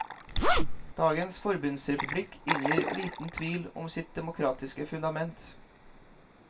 Dagens forbundsrepublikk inngir liten tvil om sitt demokratiske fundament.